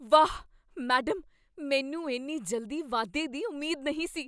ਵਾਹ, ਮੈਡਮ! ਮੈਨੂੰ ਇੰਨੀ ਜਲਦੀ ਵਾਧੇ ਦੀ ਉਮੀਦ ਨਹੀਂ ਸੀ!